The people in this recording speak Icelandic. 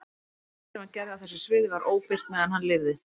Flest af því sem hann gerði á þessu sviði var óbirt meðan hann lifði.